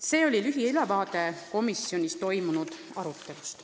See oli siis lühiülevaade komisjonis toimunud arutelust.